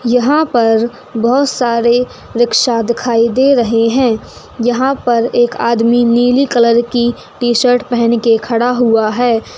यहाँ पर बहुत सारे रिक्शा दिखाई दे रहे हैं यहाँ पर एक आदमी नीले कलर की टीशर्ट पहनकर खड़ा हुआ है।